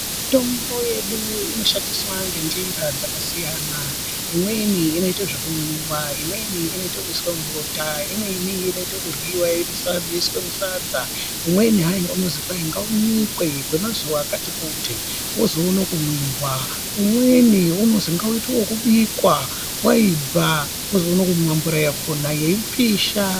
Mitombo yedu inosandiswa ngenjira dzakasiyana. Imweni inoite zvekumwiwa, imweni inoite yekuiswa mubota. Imweni inoita ekuryiwa yoiswe musadza, umweni hayi unozi kwahi ngaunyikwe kwemazuva akati kuti, wozoone kumwiwa. Umweni unozi ngauitwe wekubikwa woibva wozoone kumwa mvura yakona, yeipisha.